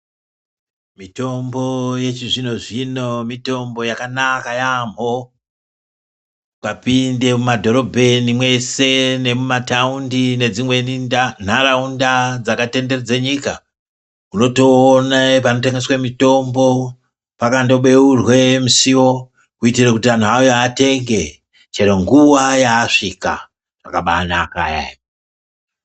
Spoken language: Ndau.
Mitombo yechizvino zvino mitombo yakanaka yambho ukapinde mumadhorobheni mweshe nemumataundi nedzimweni nharaunda dzakatenderedza nyika unotoona panotengeswa mitombo pakandobeurwe musiwo kuitira kuti antu auye atenge chero nguva yavasvika zvakabanaka eya.